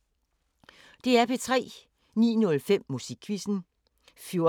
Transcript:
DR P3